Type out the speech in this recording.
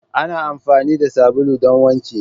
Ana amfani da sabulu don wanki.